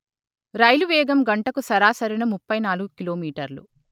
రైలు వేగం గంటకు సరాసరిన ముప్పై నాలుగు కిలో మీటర్లు